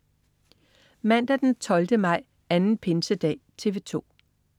Mandag den 12. maj. Anden pinsedag - TV 2: